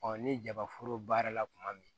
ni jaba foro baara la kuma min